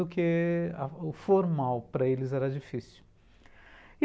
Do que... O formal para eles era difícil.